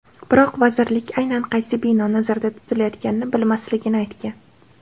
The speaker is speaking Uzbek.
Biroq vazirlik aynan qaysi bino nazarda tutilayotganini bilmasligini aytgan.